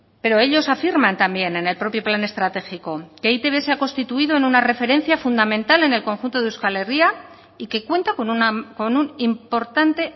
pero ellos afirman también en el propio plan estratégico que e i te be se ha constituido en una referencia fundamental en el conjunto de euskal herria y que cuenta con un importante